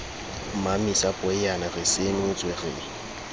mmamesa poeyana re senotswe re